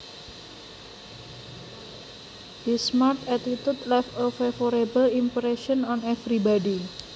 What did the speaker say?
His smart attitude left a favorable impression on everybody